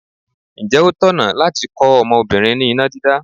Ǹjẹ́ ó tọ̀nà láti kọ́ ọmọbìnrin ní iná dídá?